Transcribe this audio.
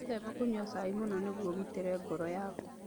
Wĩtheme kũnyua cai mũno nĩguo ũgitĩre ngoro yaku.